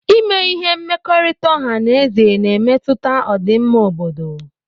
Ime ihe ike mmekọrịta ọha na eze na-emetụta ọdịmma obodo